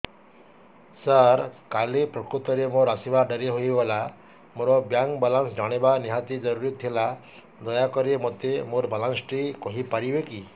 ସାର କାଲି ପ୍ରକୃତରେ ମୋର ଆସିବା ଡେରି ହେଇଗଲା ମୋର ବ୍ୟାଙ୍କ ବାଲାନ୍ସ ଜାଣିବା ନିହାତି ଜରୁରୀ ଥିଲା ଦୟାକରି ମୋତେ ମୋର ବାଲାନ୍ସ ଟି କହିପାରିବେକି